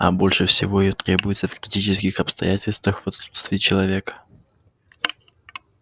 а больше всего её требуется в критических обстоятельствах в отсутствие человека